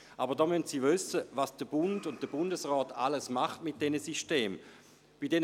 Aber da müssen Sie wissen, was der Bund und der Bundesrat mit diesen Systemen alles tun.